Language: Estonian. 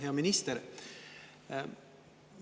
Hea minister!